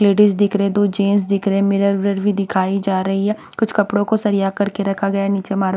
ladies दिख रहे है दो जेंस दिख रहे है मिरर विरर भी दिखाई जा रही है कुछ कपड़ों को सरिया करके रखा गया है नीचे हमारा --